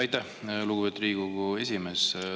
Aitäh, lugupeetud Riigikogu esimees!